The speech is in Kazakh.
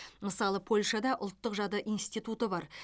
мысалы польшада ұлттық жады институты бар